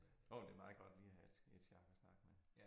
Nåh jo det meget godt lige at have et et sjak at snakke med